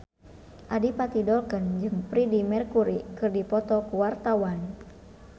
Adipati Dolken jeung Freedie Mercury keur dipoto ku wartawan